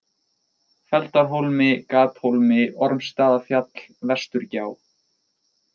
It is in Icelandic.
Feldarhólmi, Gathólmi, Ormsstaðafjall, Vesturgjá